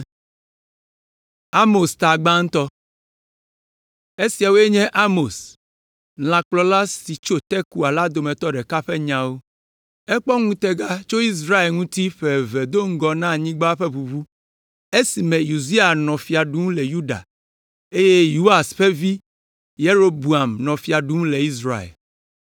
Esiawoe nye Amos, lãkplɔla siwo tso Tekoa la dometɔ ɖeka ƒe nyawo. Ekpɔ ŋutega tso Israel ŋuti ƒe eve do ŋgɔ na anyigba ƒe ʋuʋu, esime Uzia nɔ fia ɖum le Yuda, eye Yoas ƒe vi, Yeroboam, nɔ fia ɖum le Israel.